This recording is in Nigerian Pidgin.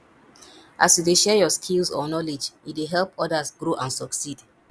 as you dey share yur skills or knowledge e dey help odas grow and succeed